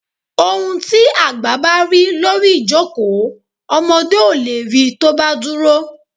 Ohún tí àgbá ba ri lórí ìjókòó, ọmọdé o le ri tọ́ ba dúrò